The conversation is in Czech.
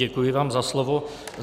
Děkuji vám za slovo.